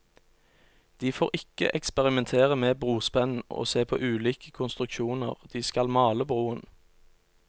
De får ikke eksperimentere med brospenn og se på ulike konstruksjoner, de skal male broen.